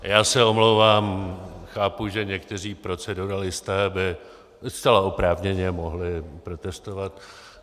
Já se omlouvám, chápu, že někteří proceduralisté by zcela oprávněně mohli protestovat.